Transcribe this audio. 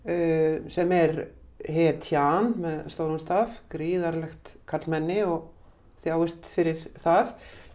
sem er hetjan með stórum staf gríðarlegt karlmenni og þjáist fyrir það